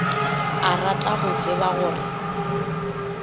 a rata go tseba gore